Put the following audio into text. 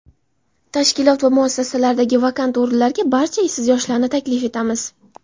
tashkilot va muassasalaridagi vakant o‘rinlarga barcha ishsiz yoshlarni taklif etamiz.